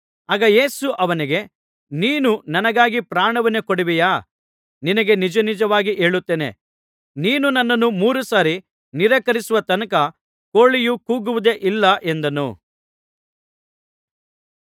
ಆಗ ಯೇಸು ಅವನಿಗೆ ನೀನು ನನಗಾಗಿ ಪ್ರಾಣವನ್ನೇ ಕೊಡುವೆಯಾ ನಿನಗೆ ನಿಜನಿಜವಾಗಿ ಹೇಳುತ್ತೇನೆ ನೀನು ನನ್ನನ್ನು ಮೂರು ಸಾರಿ ನಿರಾಕರಿಸುವ ತನಕ ಕೋಳಿಯು ಕೂಗುವುದೇ ಇಲ್ಲ ಎಂದನು